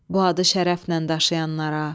Bu adı şərəflə daşıyanlara.